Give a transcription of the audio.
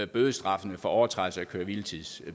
bødestraffene for overtrædelse af køre hvile tids